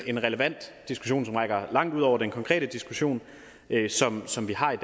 en relevant diskussion som rækker langt ud over den konkrete diskussion som som vi har i